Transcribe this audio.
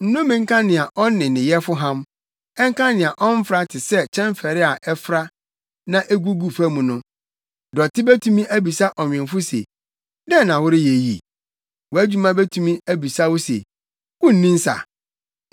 “Nnome nka nea ɔne ne Yɛfo ham ɛnka nea ɔmfra te sɛ kyɛmfɛre a ɛfra nea egugu fam mu. Dɔte betumi abisa ɔnwemfo se, ‘Dɛn na woreyɛ yi?’ Wʼadwuma betumi abisa wo se ‘Wunni nsa’?